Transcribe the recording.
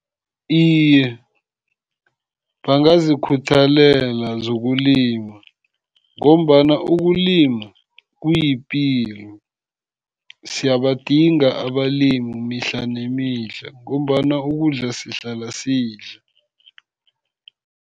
Iye, bangazikhuthalela zokulima, ngombana ukulima kuyipilo. Siyabadinga abalimi mihla nemihla, ngombana ukudla sihlala sidla.